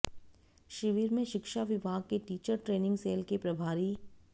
शिविर में शिक्षा विभाग के टीचर ट्रेनिंग सैल के प्रभारी